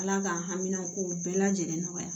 Ala k'an hamina kow bɛɛ lajɛlen nɔgɔya